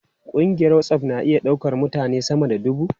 Kungiyar WhatsApp na iya daukar mutane sama da dubu.